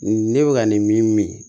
Ne bɛ ka nin min min